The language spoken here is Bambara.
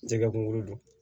Jɛgɛ kunkolo don